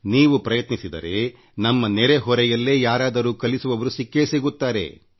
ನೀವು ಪ್ರಯತ್ನಿಸಿದರೆ ನಮ್ಮ ನೆರೆ ಹೊರೆಯಲ್ಲೇ ಯಾರಾದರೂ ಕಲಿಸುವವರು ಸಿಕ್ಕೇ ಸಿಗುತ್ತಾರೆ